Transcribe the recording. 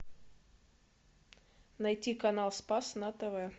найти канал спас на тв